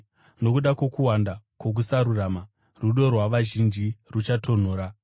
Nokuda kwokuwanda kwokusarurama, rudo rwavazhinji ruchatonhora.